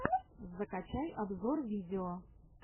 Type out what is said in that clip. закачай обзор видео